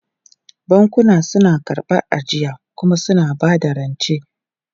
Bankuna suna karɓar ajiya kuma suna ba da rance.